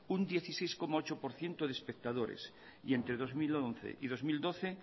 un dieciséis coma ocho por ciento de espectadores y entre dos mil once y dos mil doce